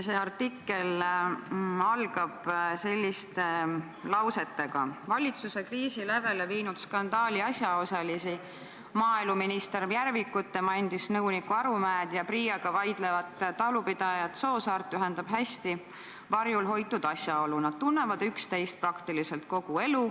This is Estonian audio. See artikkel algab selliste lausetega: "Valitsuse kriisi lävele viinud skandaali asjaosalisi, maaeluminister Mart Järvikut, tema endist nõunikku Urmas Arumäed ja PRIAga vaidlevat talupidajat Rein Soosaart ühendab hästi varjul hoitud asjaolu: nad tunnevad üksteist praktiliselt kogu elu.